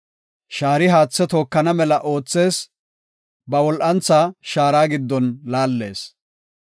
Shaari haathe tookana mela oothees; ba wol7antha shaara giddon laallees.